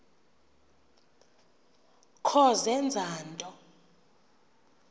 kho zenza nto